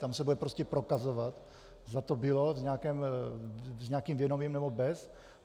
Tam se bude prostě prokazovat, zda to bylo s nějakým vědomím, nebo bez.